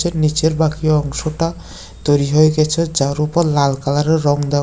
এর নিচের বাকি অংশটা তৈরি হয়ে গেছে যার উপর লাল কালারের রঙ দেওয়া।